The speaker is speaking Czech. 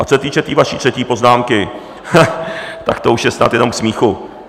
A co se týče té vaší třetí poznámky, tak to už je snad jenom k smíchu.